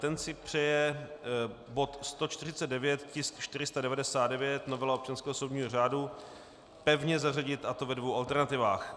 Ten si přeje bod 149, tisk 499, novela občanského soudního řádu, pevně zařadit, a to ve dvou alternativách.